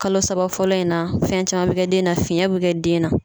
Kalo saba fɔlɔ in na fɛn caman bɛ kɛ den na fiyɛn bɛ kɛ den na